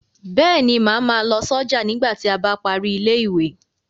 Bẹ́ẹ̀ ni, màá ma lọ sọ́jà nígbà tí a bá parí ilé ìwé.